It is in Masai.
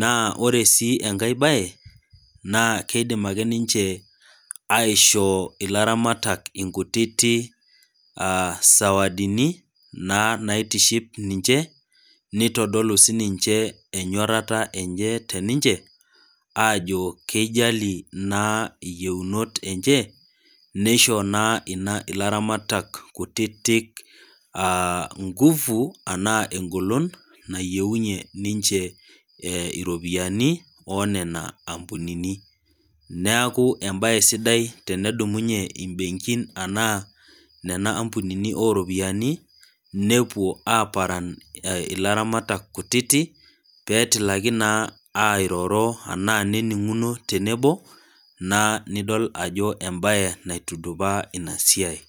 ,naa ore sii enkae bae naa keidim ake ninche aishoo ilaramatak nkutitik sawadini naa naitiship ninche neitodolu sininye enyorata enye teninche ,ajo keijali naa yieunot enye ,neishoo naa laramatak kutitik ngufu enaa engolon nayieunyie ninche iropiyiani onena ampunini. neeku embae sidai tenedumunye nena benkin ashu nena ampunini oropiyiani, nepuo aparan ilatamatak kutitik pee etilaki naa airoro enaa eninguno tenebo naa nidol ajo embae naitudupaa ina siai.